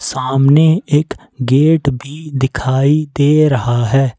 सामने एक गेट भी दिखाई दे रहा है।